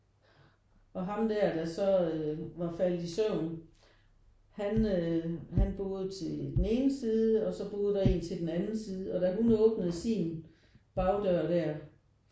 Og ham der der så øh var faldet i søvn han øh han boede til den ene side og så boede der en til den anden side. Og da hun åbnede sin bagdør der